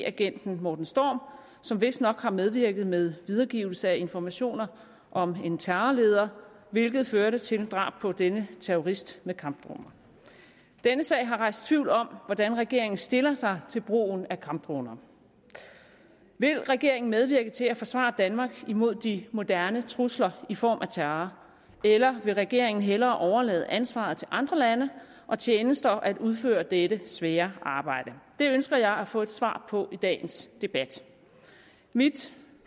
agenten morten storm som vistnok har medvirket med videregivelse af informationer om en terrorleder hvilket førte til drab på denne terrorist med kampdroner denne sag har rejst tvivl om hvordan regeringen stiller sig til brugen af kampdroner vil regeringen medvirke til at forsvare danmark imod de moderne trusler i form af terror eller vil regeringen hellere overlade ansvaret til andre lande og tjenester at udføre dette svære arbejde det ønsker jeg at få et svar på i dagens debat mit